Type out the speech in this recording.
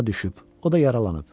O da yaralanıb.